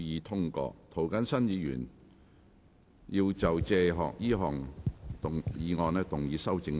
涂謹申議員要就這項議案動議修正案。